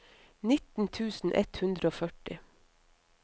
nitten tusen ett hundre og førti